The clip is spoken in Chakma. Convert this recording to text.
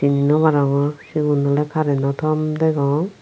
sini nwarongor sigun oley kareno tom degong.